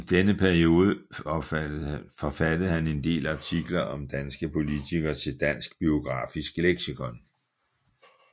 I denne periode forfattede han en del artikler om danske politikere til Dansk Biografisk Leksikon